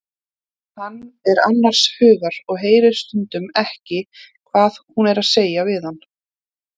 Hann er annars hugar og heyrir stundum ekki hvað hún er að segja við hann.